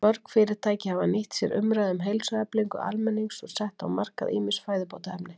Mörg fyrirtæki hafa nýtt sér umræðu um heilsueflingu almennings og sett á markað ýmis fæðubótarefni.